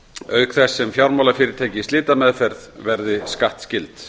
auk þess sem fjármálafyrirtæki í slitameðferð verði skattskyld